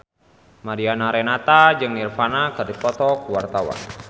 Mariana Renata jeung Nirvana keur dipoto ku wartawan